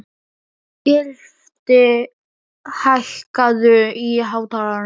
Gylfi, hækkaðu í hátalaranum.